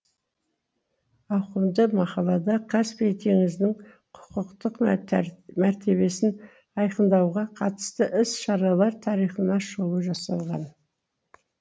ауқымды мақалада каспий теңізінің құқықтық мәртебесін айқындауға қатысты іс шаралар тарихына шолу жасалған